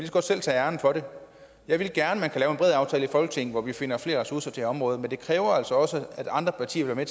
så godt selv tage æren for det jeg ville gerne at en bred aftale i folketinget hvor vi finder flere ressourcer til området men det kræver altså også at andre partier vil være